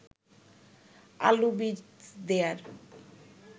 আলু বীজ দেয়ার